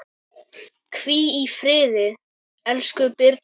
Hvíl í friði, elsku Birna.